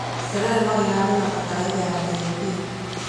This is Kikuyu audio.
Terere no ĩhandwo na bataraitha ya DAP.